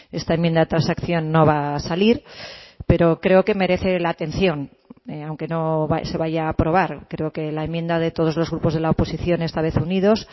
esta enmienda de transacción no va a salir pero creo que merece la atención aunque no se vaya a aprobar creo que la enmienda de todos los grupos de la oposición esta vez unidos